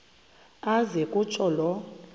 aze kutsho la